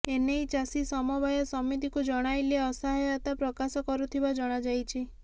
ଏ ନେଇ ଚାଷୀ ସମବାୟ ସମିତିକୁ ଜଣାଇଲେ ଅସହାୟତା ପ୍ରକାଶ କରୁଥିବା ଜଣାଯାଇଛି